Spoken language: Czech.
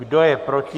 Kdo je proti?